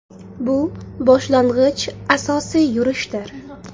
Bu boshlang‘ich asosiy yurishdir.